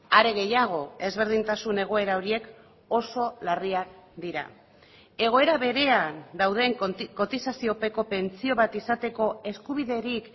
are gehiago ezberdintasun egoera horiek oso larriak dira egoera berean dauden kotizaziopeko pentsio bat izateko eskubiderik